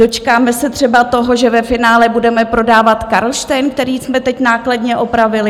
Dočkáme se třeba toho, že ve finále budeme prodávat Karlštejn, který jsme teď nákladně opravili?